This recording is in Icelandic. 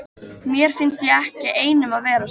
Mér finnst ég ekki einn um að vera svona